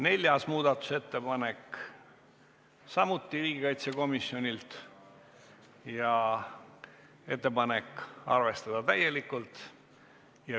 Neljas muudatusettepanek on samuti riigikaitsekomisjonilt ja ettepanek on arvestada täielikult.